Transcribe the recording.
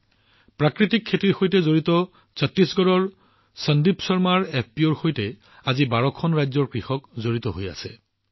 ১২খন ৰাজ্যৰ কৃষকে প্ৰাকৃতিক কৃষিৰ সৈতে সম্পৰ্কিত ছট্টিশগড়ৰ সন্দীপ শৰ্মাৰ এফপিঅত যোগদান কৰিছে